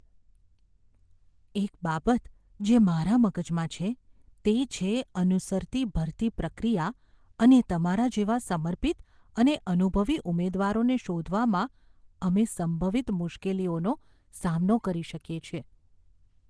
એક બાબત જે મારા મગજમાં છે તે છે અનુસરતી ભરતી પ્રક્રિયા અને તમારા જેવા સમર્પિત અને અનુભવી ઉમેદવારને શોધવામાં અમે સંભવિત મુશ્કેલીઓનો સામનો કરી શકીએ છીએ.